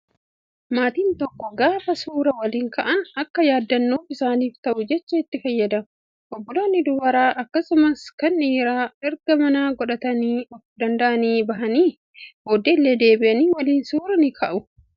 Maatiin tokko gaafa suuraa waliin ka'an akka yaadannoof isaaniif ta'uuf jecha itti fayyadamu. Obbolaan dubaraa akkasumas kan dhiiraa erga mana godhatanii of danda'anii bahanii booddee illee deebi'anii waliin suuraa ni ka'u.